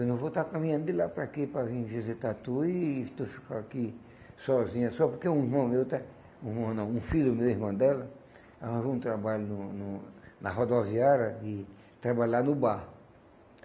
Eu não vou estar caminhando de lá para aqui para vim visitar tu e tu ficar aqui sozinha só porque um irmão meu está, um irmão não, um filho meu e irmã dela, arranjou um trabalho num num na rodoviária e trabalhar no bar.